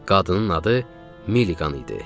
Qadının adı Miliqan idi.